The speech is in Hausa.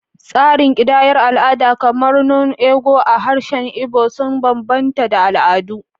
Tsarin kidayar al’ada, kamar “nnu ego” a harshen Igbo, sun bambanta da al’adu.